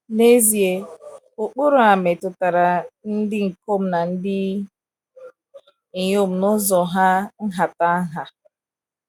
N’ezie, ụkpụrụ a metụtara ndị ikom na ndị inyom n’ụzọ hà nhata nha.